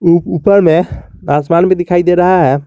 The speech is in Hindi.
ऊपर में आसमान में दिखाई दे रहा है।